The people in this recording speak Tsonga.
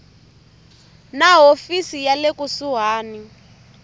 na hofisi ya le kusuhani